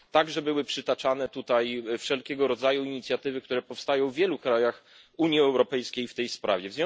Były tutaj także przytaczane wszelkiego rodzaju inicjatywy, które powstają w wielu krajach Unii Europejskiej w tej sprawie.